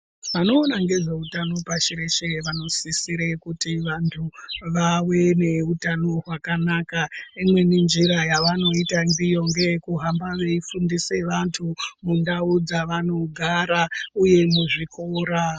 Vanoona ngezveutano pashi reshe vanosisire kuti vantu vaveneutano hwakanaka. Imweni njira yavanoita ndiyo ngeyekuhamba veifundise vantu mundau dzevanogara uye muzvikora.